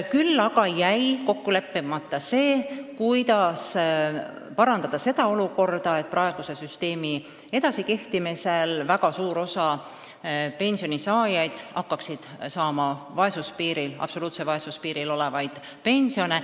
Küll aga jäi kokku leppimata see, kuidas parandada seda olukorda, et praeguse süsteemi edasikehtimise korral hakkaks väga suur osa inimesi saama absoluutse vaesuse piiril olevat pensioni.